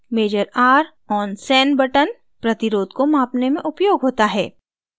measure r on sen button प्रतिरोध resistance को मापने में उपयोग होता है